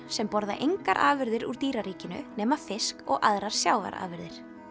sem borða engar afurðir úr dýraríkinu nema fisk og aðrar sjávarafurðir